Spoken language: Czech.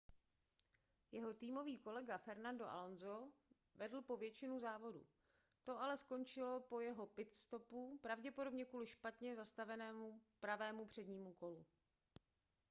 jeho týmový kolega fernando alonso vedl po většinu závodu to ale skončilo po jeho pit-stopu pravděpodobně kvůli špatně zasazenému pravému přednímu kolu